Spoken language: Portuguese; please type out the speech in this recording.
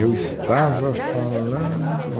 Eu estava falando...